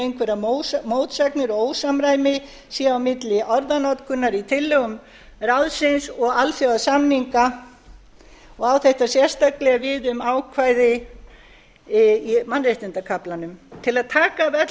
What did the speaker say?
einhverjar mótsagnir og ósamræmi sé á milli orðanotkunar í tillögum ráðsins og alþjóðasamninga og á þetta sérstaklega við um ákvæði í mannréttindakaflanum til að taka af